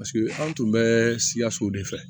Paseke an tun bɛ siyaso de fɛ